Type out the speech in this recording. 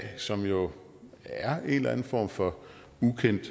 som jo er en eller anden form for ukendt